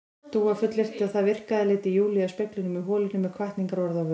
Dúa fullyrti að það virkaði, leiddi Júlíu að speglinum í holinu með hvatningarorð á vör.